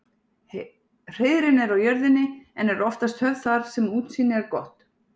Hreiðrin eru á jörðinni en eru oftast höfð þar sem útsýni er gott.